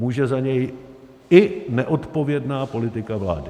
Může za něj i neodpovědná politika vlády.